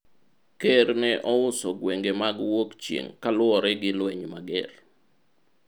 Ker ne ouso gwenge mag wuok chieng' kaluwore gi lweny mager